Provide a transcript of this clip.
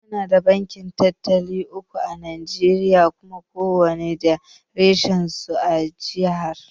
Muna da banki talatin da uku à Najeriya Kuma kowanne da reshen su a jiha.